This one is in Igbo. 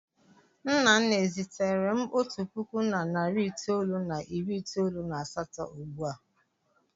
Nnanna e ziteere m otu puku na narị itoolu na iri itoolu na asatọ ugbu a?